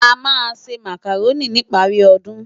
Amá nsé Mákároni nipári òdún